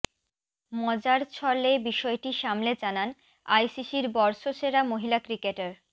মজার ছলে বিষয়টি সামলে জানান আইসিসির বর্ষসেরা মহিলা ক্রিকেটার